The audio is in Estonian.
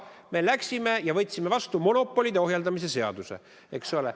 Me läksime ja võtsime vastu monopolide ohjeldamise seaduse, eks ole.